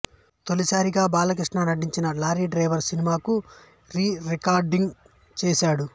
తొలిసారిగా బాలకృష్ణ నటించిన lorry driver సినిమాకు రీ రికార్డింగ్ చేశాడు